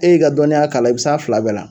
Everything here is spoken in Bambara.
E y'i ka dɔnniya kalan i bɛ s'a fila bɛɛ la.